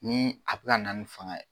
Ni a be kana ni faŋa ye